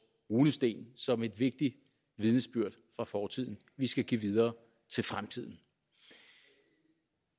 runesten som et vigtigst vidnesbyrd fra fortiden vi skal give videre til fremtiden